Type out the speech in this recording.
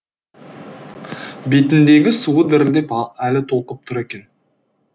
бетіндегі суы дірілдеп әлі толқып тұр екен